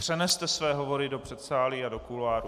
Přeneste své hovory do předsálí a do kuloárů.